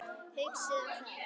Hugsið um það.